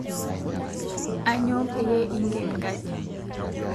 Aanyo payie ing'en nkaji